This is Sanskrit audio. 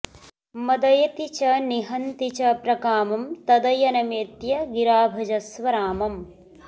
मदयति च निहन्ति च प्रकामं तदयनमेत्य गिरा भजस्व रामम्